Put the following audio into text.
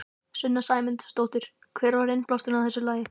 Sunna Sæmundsdóttir: Hver var innblásturinn að þessu lagi?